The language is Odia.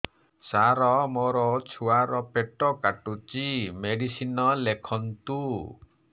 ସାର ମୋର ଛୁଆ ର ପେଟ କାଟୁଚି ମେଡିସିନ ଲେଖନ୍ତୁ